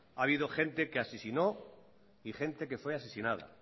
ha habido gente que asesinó y gente que fue asesinada